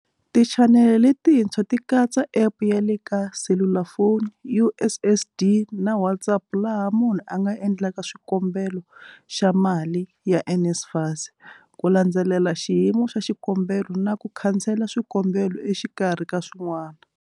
Tichanele letintshwa ti katsa App ya le ka selulafoni, USSD na WhatsApp laha munhu a nga endlaka xikombelo xa mali ya NSFAS, ku landzelela xiyimo xa xikombelo na ku khansela swikombelo exikarhi ka swin'wana.